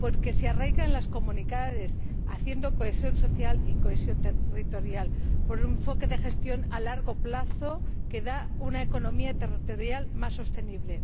porque se arraiga en las comunidades haciendo cohesión social y cohesión territorial por un enfoque de gestión a largo plazo que da una economía territorial más sostenible.